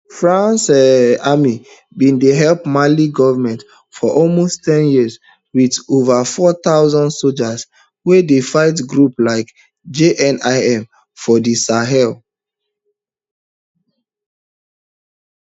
france um army bin dey help mali goment for almost ten years wit ova four thousand soldiers wey dey fight groups like jnim for di sahel um